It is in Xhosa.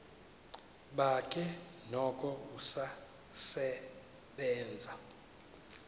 bakhe noko usasebenza